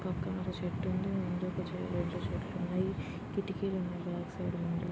ఒక చెట్టుంది. ముందు ఒక చే-రెండు చెట్లున్నాయి. కిటికీలు ఉన్నాయి.బ్యాక్ సైడ్--